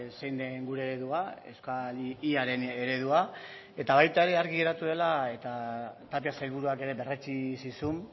zein den gure eredua euskal y aren eredua eta baita ere argi geratu dela eta tapia sailburuak ere berretsi zizun